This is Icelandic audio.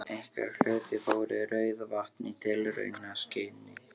Einhver hluti fór í Rauðavatn í tilraunaskyni.